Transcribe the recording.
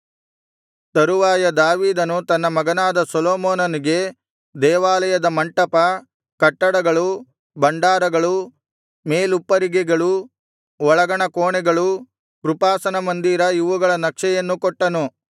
ತರುವಾಯ ದಾವೀದನು ತನ್ನ ಮಗನಾದ ಸೊಲೊಮೋನನಿಗೆ ದೇವಾಲಯದ ಮಂಟಪ ಕಟ್ಟಡಗಳು ಭಂಡಾರಗಳು ಮೇಲುಪ್ಪರಿಗೆಗಳು ಒಳಗಣ ಕೋಣೆಗಳು ಕೃಪಾಸನ ಮಂದಿರ ಇವುಗಳ ನಕ್ಷೆಯನ್ನು ಕೊಟ್ಟನು